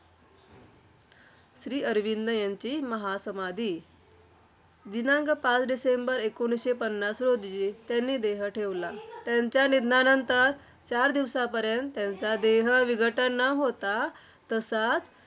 श्रीअरविंद यांची महासमाधी. दिनांक पाच डिसेंबर एकोणीसशे पन्नास रोजी त्यांनी देह ठेवला. त्यांच्या निधनानंतर चार दिवसापर्यंत त्यांचा देह विघटन न होता, तसाच